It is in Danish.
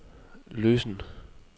løsen